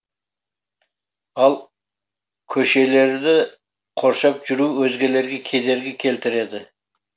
ал көшелерді қоршап жүру өзгелерге кедергі келтіреді